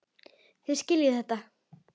Þá skiljið þið þetta.